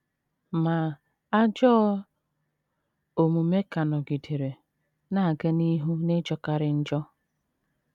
Ma, ajọ omume ka nọgidere “ na - aga n’ihu n’ịjọkarị njọ. ”